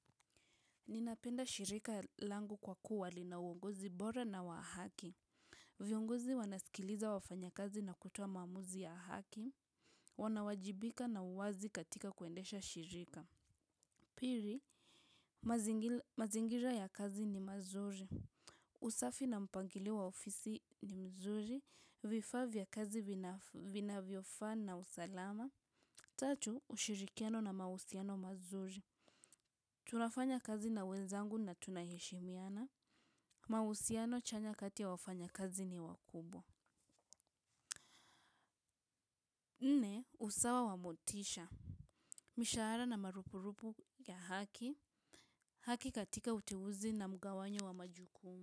Ninapenda shirika langu kwa kuwa linauongozi bora na wa haki. Viongozi wanasikiliza wafanyakazi na kutoa maamuzi ya haki. Wanawajibika na uwazi katika kuendesha shirika. Pili, mazingira ya kazi ni mazuri. Usafi na mpangilo wa ofisi ni mzuri. Vifaa vya kazi vinavyofaa na usalama. Tatu, ushirikiano na mahusiano mazuri. Tunafanya kazi na wenzangu na tunaheshimiana. Mahusiano chanya kati ya wafanyakazi ni wakubwa. Nne usawa wa motisha. Mishahara na marupurupu ya haki. Haki katika utewuzi na mgawanyo wa majukumu.